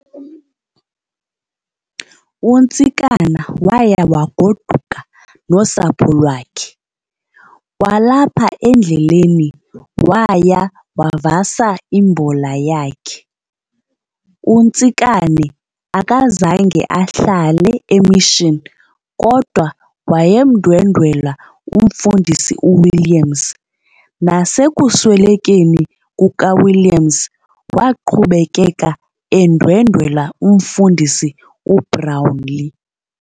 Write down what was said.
UNtsikana waya waguduka nosapho lwakhe, kwalapha endleleni waya wavasa imbola yakhe. UNtsikane akazange ahlale eMission kodwa wayemndwendwela umfundisi uWilliams, nasekuswelekeni kuka Williams waqhubekeka endwendwela umfundisi uBrownlee.